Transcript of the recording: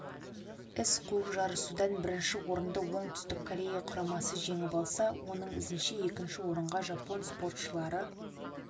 із қуып жарысудан бірінші орынды оңтүстік корея құрамасы жеңіп алса оның ізінше екінші орынға жапон спортшылары